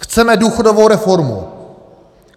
Chceme důchodovou reformu.